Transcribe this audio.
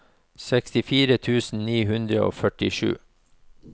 sekstifire tusen ni hundre og førtisju